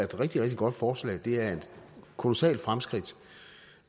rigtig rigtig godt forslag for det er et kolossalt fremskridt